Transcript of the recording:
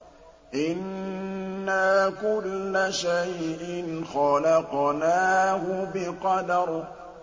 إِنَّا كُلَّ شَيْءٍ خَلَقْنَاهُ بِقَدَرٍ